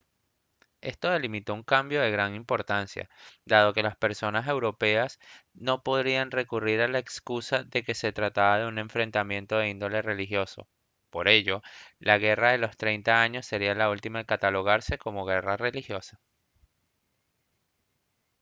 esto delimitó un cambio de gran importancia dado que las potencias europeas no podrían recurrir a la excusa de que se trataba de enfrentamientos de índole religioso por ello la guerra de los treinta años sería la última en catalogarse como guerra religiosa